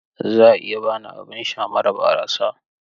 Za a iya ba ni abin sha mara barasa?